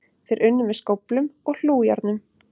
Þeir unnu með skóflum og hlújárnum.